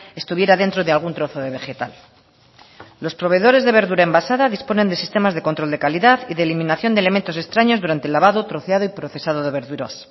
estuviera dentro de algún trozo de vegetal los proveedores de verdura envasada disponen de sistemas de control de calidad y de eliminación de elementos extraños durante el lavado troceado y procesado de verduras